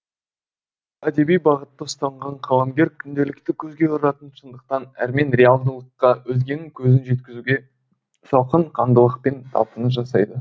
әдеби бағытты ұстанған қаламгер күнделікті көзге ұратын шындықтан әрмен реалдылыққа өзгенің көзін жеткізуге салқын қандылықпен талпыныс жасайды